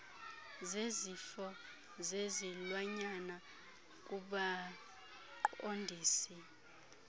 zezifo zezilwanyana kubaqondisi